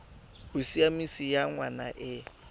bosiamisi ya ngwana e e